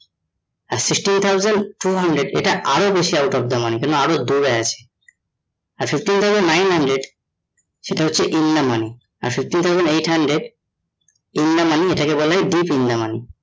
আর sixteen thousand four hundred এটা আরো বেশি out of the money কেন আরো দৌড়ে আছে, একশো তিন dollar nine hundred সেটা হচ্ছে in the money আর sixteen thousand eight hundred in the money এইটা কে বলে deep in the money